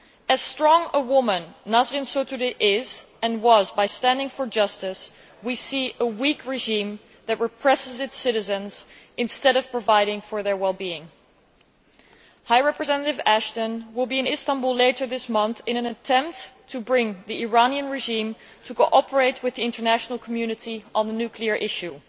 As strong a woman as Nasrin Sotoudeh is and was, by standing for justice, we see a weak regime that represses its citizens instead of providing for their wellbeing. High Representative Ashton will be in Istanbul later this month in an attempt to bring the Iranian regime to cooperate with the international community on the nuclear issue.